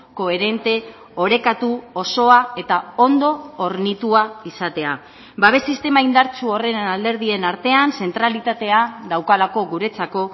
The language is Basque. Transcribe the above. koherente orekatu osoa eta ondo hornitua izatea babes sistema indartsu horren alderdien artean zentralitatea daukalako guretzako